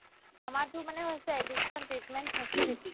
আমাৰতো মানে হৈছে addiction treatment facility